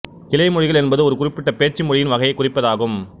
கிளைமொழிகள் என்பது ஒரு குறிப்பிட்ட பேச்சு மொழியின் வகையைக் குறிப்பதாகும்